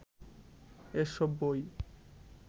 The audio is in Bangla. এসব বই